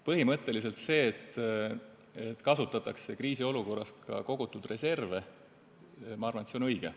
Põhimõtteliselt see, et kriisiolukorras kasutatakse ka kogutud reserve, ma arvan, on õige.